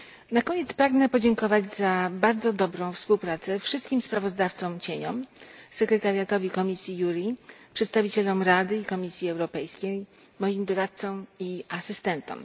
Na koniec pragnę podziękować za bardzo dobrą współpracę wszystkim sprawozdawcom cieniom, sekretariatowi komisji JURI, przedstawicielom Rady i Komisji Europejskiej, moim doradcom i asystentom.